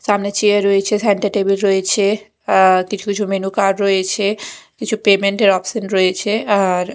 সামনে চেয়ার রয়েছে centre table রয়েছে আঃ কিছু কিছু মেনু কার্ড রয়েছে কিছু পেমেন্ট -এর অপশন রয়েছে আর--